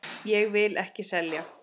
Ég vil ekki selja.